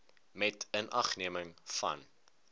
met inagneming van